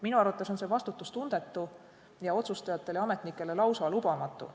Minu arvates on see vastutustundetu ja otsustajatele ja ametnikele lausa lubamatu.